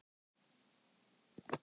Því ég er svo einmana.